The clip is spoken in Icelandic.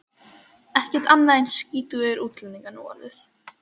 Ekkert annað en skítugir útlendingar núorðið.